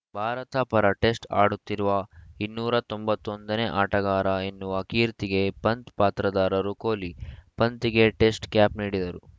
ಭಾರತ ಪರ ಟೆಸ್ಟ್‌ ಆಡುತ್ತಿರುವ ಇನ್ನೂರ ತೊಂಬತ್ತ್ ಒಂದ ನೇ ಆಟಗಾರ ಎನ್ನುವ ಕೀರ್ತಿಗೆ ಪಂತ್‌ ಪಾತ್ರರಾದರು ಕೊಹ್ಲಿ ಪಂತ್‌ಗೆ ಟೆಸ್ಟ್‌ ಕ್ಯಾಪ್‌ ನೀಡಿದರು